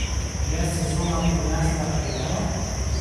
Je sezona prinesla želeno?